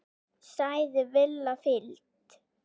sagði Lilla fýld.